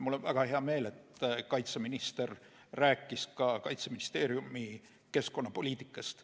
Mul on väga hea meel, et kaitseminister rääkis ka Kaitseministeeriumi keskkonnapoliitikast.